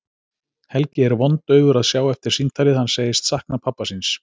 Helgi er vondaufur að sjá eftir símtalið, hann segist sakna pabba síns.